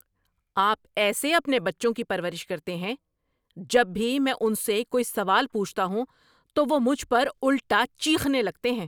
آپ ایسے اپنے بچوں کی پرورش کرتے ہیں؟ جب بھی میں ان سے کوئی سوال پوچھتا ہوں تو وہ مجھ پر الٹا چیخنے لگتے ہیں۔